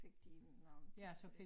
Fik de noget plads